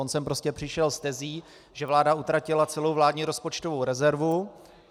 On sem prostě přišel s tezí, že vláda utratila celou vládní rozpočtovou rezervu.